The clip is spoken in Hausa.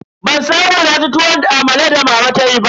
Ban samu naci tuwon amalan da mama tayi ba.